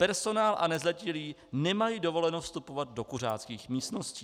Personál a nezletilí nemají dovoleno vstupovat do kuřáckých místností.